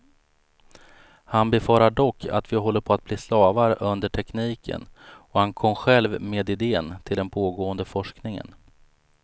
Han befarar dock att vi håller på att bli slavar under tekniken, och han kom själv med idén till den pågående forskningen.